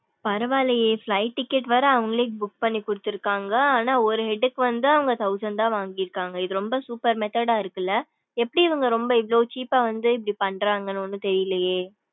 பரவா இல்லையே flight ticket வேற அவுங்களே book பண்ணி குடுத்துருக்காங்க ஆனா ஒரு head க்கு வந்து ஆனா thousand தான் வாங்கிருக்காங்க இது ரொம்ப super method இருக்குல எப்படி இவுங்க ரொம்ப இவ்ளோ cheap வந்து இப்படி பன்றாங்கனு ஒன்னும் தெரியலையே.